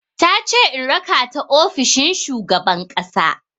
Tace in raka ta ofishin shugaban ƙasa.